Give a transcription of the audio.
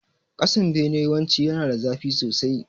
Kasan bene yawanci yana da zafi sosai